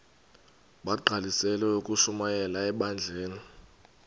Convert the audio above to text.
bagqalisele ukushumayela ebandleni